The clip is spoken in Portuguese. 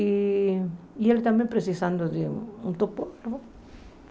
E e ele também precisando de um topógrafo.